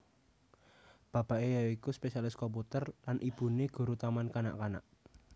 Bapake ya iku spesialis komputer lan ibune guru taman kanak kanak